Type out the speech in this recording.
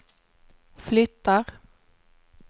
flyttar